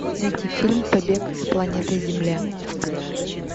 найти фильм побег с планеты земля